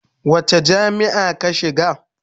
Wace jami'a ka shiga?